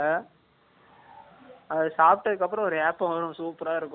அது சாப்பிட்டதுக்கு அப்புறம், ஒரு ஏப்பம் வரும், super ஆ இருக்கும்